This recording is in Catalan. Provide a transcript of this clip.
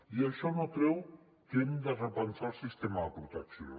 i això no treu que hem de repensar el sistema de protecció